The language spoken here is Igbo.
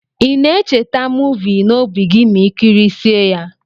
Ina echeta movi na obi gi ma ikirisie ya?